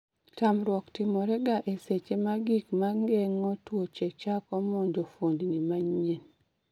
tamruok timore ga e seche ma gig mageng'o tuoche chako monjo fuondni manyien